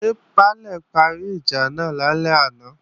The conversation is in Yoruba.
Ṣé Baálè parí ìjà náà lálẹ́ àná?